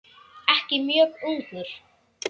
Ekki mjög ungur.